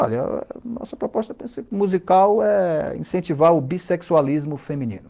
Olha, nossa proposta musical é incentivar o bissexualismo feminino.